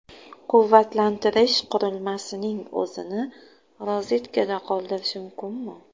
Quvvatlantirish qurilmasining o‘zini rozetkada qoldirish mumkinmi?.